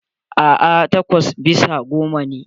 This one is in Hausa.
A'a, takwas bisa goma ne.